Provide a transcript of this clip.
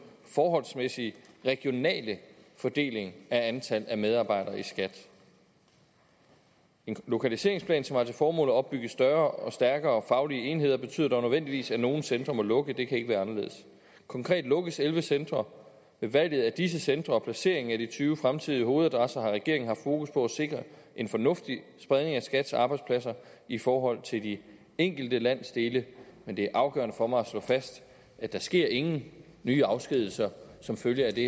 forholdsmæssige regionale fordeling af antallet af medarbejdere i skat en lokaliseringsplan som har til formål at opbygge større og stærkere faglige enheder betyder dog nødvendigvis at nogle centre må lukke det kan ikke være anderledes konkret lukkes elleve centre ved valget af disse centre og placeringen af de tyve fremtidige hovedadresser har regeringen haft fokus på at sikre en fornuftig spredning af skats arbejdspladser i forhold til de enkelte landsdele men det er afgørende for mig at slå fast at der sker ingen nye afskedigelser som følge af det